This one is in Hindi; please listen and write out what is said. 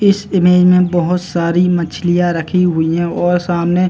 इस इमेज में बोहोत सारी मछलियां रखी हुई ऐं और सामने --